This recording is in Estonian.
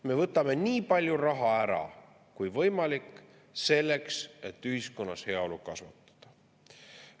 Me võtame nii palju raha ära kui võimalik selleks, et ühiskonnas heaolu kasvatada.